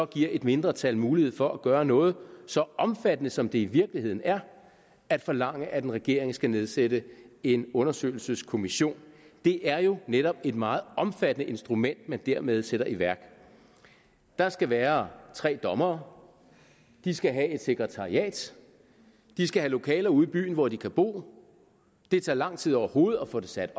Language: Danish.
giver et mindretal mulighed for at gøre noget så omfattende som det i virkeligheden er at forlange at en regering skal nedsætte en undersøgelseskommission det er jo netop et meget omfattende instrument man dermed sætter i værk der skal være tre dommere de skal have et sekretariat de skal have lokaler ude i byen hvor de kan bo det tager lang tid overhovedet at få det sat